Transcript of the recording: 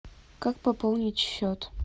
как пополнить счет